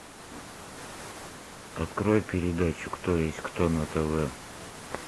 открой передачу кто есть кто на тв